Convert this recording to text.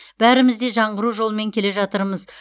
бәріміз де жаңғыру жолымен келе жатырмыз